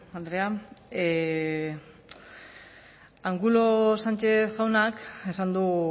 andrea angulo sánchez jaunak esan du